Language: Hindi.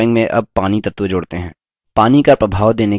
drawing में add पानी तत्व जोड़ते हैं